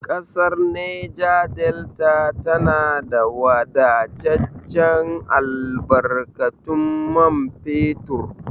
Ƙasar Neja Delta tana da wadataccen albarkatun man fetur.